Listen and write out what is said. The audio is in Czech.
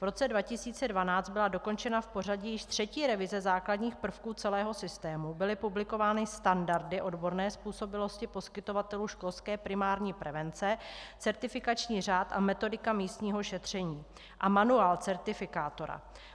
V roce 2012 byla dokončena v pořadí již třetí revize základních prvků celého systému, byly publikovány standardy odborné způsobilosti poskytovatelů školské primární prevence, certifikační řád a metodika místního šetření a manuál certifikátora.